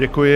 Děkuji.